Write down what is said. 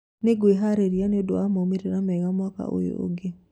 Nĩngweharĩrĩria nĩundo wa maumirĩra mega mwaka ũyũ ũngĩ